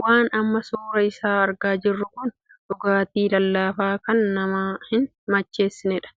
Waan amma suuraa isaa argaa jiruu kun dhugaatii lallaafaa kan nama hin macheessineedha,